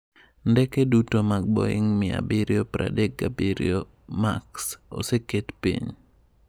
Ndeke duto mag Boeing 737 Max oseket piny.